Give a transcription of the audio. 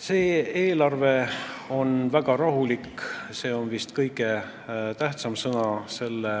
See eelarve on väga rahulik – see on vist põhiline sõna selle